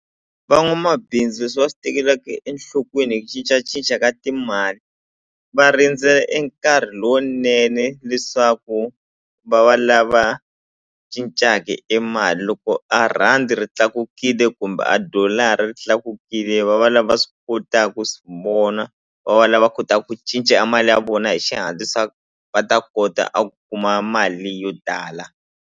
Van'wamabindzu leswi va swi tekelaka enhlokweni hi ku cincacinca ka timali va rindzela e nkarhi lowunene leswaku va va lava cincaka e mali loko a rhandi ri tlakukile kumbe a dollar-a ri tlakukile va va lava swi kota ku swi vona va va lava va kota ku cinca a mali ya vona hi xihatla leswaku va ta kota a ku kuma mali yo tala.